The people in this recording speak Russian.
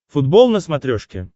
футбол на смотрешке